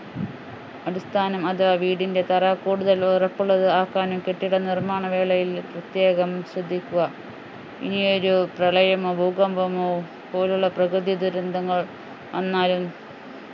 അടിസ്ഥാനം അത് വീടിന്റെ തറ കൂടുതൽ ഉറപ്പുള്ളത് ആക്കാനും കെട്ടിട നിർമ്മാണ വേളയിൽ പ്രത്യേകം ശ്രദ്ധിക്കുക ഇനിയൊരു പ്രളയമോ ഭൂകമ്പമോ പോലുള്ള പ്രകൃതി ദുരന്തങ്ങൾ വന്നാലും